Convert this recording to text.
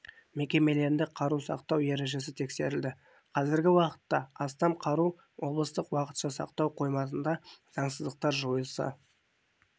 мекемелерінде қару сақтау ережесі тексерілді қазіргі уақытта астам қару облыстық уақытша сақтау қоймасында заңсыздықтар жойылса